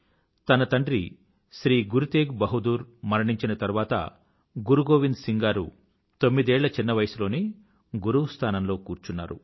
తన తండ్రి శ్రీ గురు తేగ్ బహదూర్ తెఘ్ బహాదూర్ మరణించిన తరువాత గురు గోవింద్ సింగ్ గారు తొమ్మిదేళ్ల చిన్న వయసులోనే గురువు స్థానంలో కూర్చున్నారు